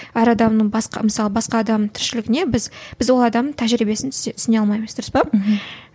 әр адамның басқа мысалы басқа адамның тіршілігіне біз біз ол адамның тәжірибесін түсіне алмаймыз дұрыс па мхм